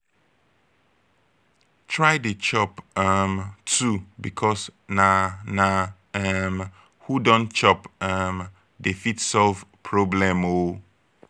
try dey chop um too bikos na na um who don chop um dey fit solve problem o